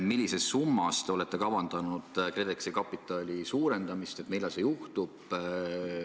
Millises summas te olete kavandanud KredExi kapitali suurendamist ja millal see juhtub?